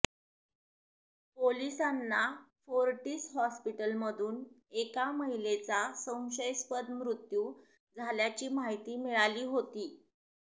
पोलिसांना फोर्टिस हॉस्पीटलमधून एका महिलेचा संशयास्पद मृत्यू झाल्याची माहिती मिळाली होती